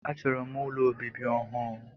A chọrọ m ụlọ obibi ọhụụ.